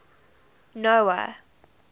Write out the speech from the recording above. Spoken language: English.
noah